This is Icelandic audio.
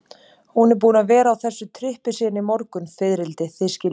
Hún er búin að vera á þessu trippi síðan í morgun, fiðrildi, þið skiljið.